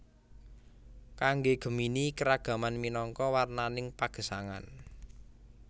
Kangge Gemini keragaman minangka warnaning pagesangan